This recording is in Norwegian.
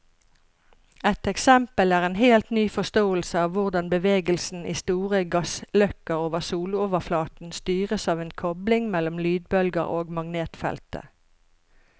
Et eksempel er en helt ny forståelse av hvordan bevegelsen i store gassløkker over soloverflaten styres av en kobling mellom lydbølger og magnetfeltet.